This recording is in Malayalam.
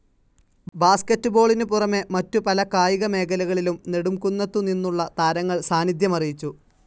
ബാസ്ക്കറ്റ്ബോളിനു പുറമെ മറ്റു പല കായിക മേഖലകളിലും നെടുംകുന്നത്തുനിന്നുള്ള താരങ്ങൾ സാന്നിധ്യമറിയിച്ചു.